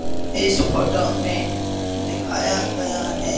इस फोटो में दिखाया गया है--